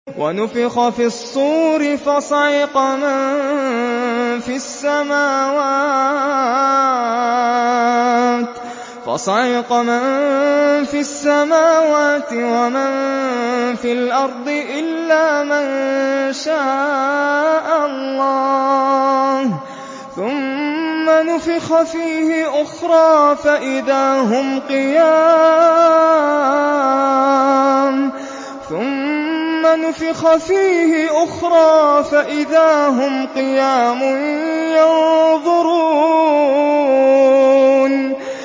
وَنُفِخَ فِي الصُّورِ فَصَعِقَ مَن فِي السَّمَاوَاتِ وَمَن فِي الْأَرْضِ إِلَّا مَن شَاءَ اللَّهُ ۖ ثُمَّ نُفِخَ فِيهِ أُخْرَىٰ فَإِذَا هُمْ قِيَامٌ يَنظُرُونَ